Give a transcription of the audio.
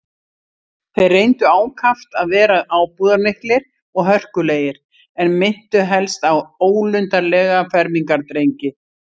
Þeir reyndu ákaft að vera ábúðarmiklir og hörkulegir, en minntu helst á ólundarlega fermingardrengi.